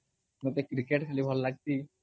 ମତେ କ୍ରିକେଟ ଖାଲି ଭଲ ଲଗଶି